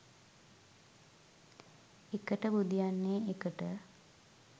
එකට බුදියන්නේ එකට